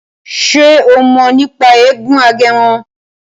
Ṣe o mọ̀ nípa eégún Agẹmọ?